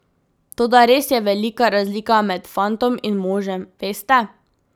Toda res je velika razlika med fantom in možem, veste.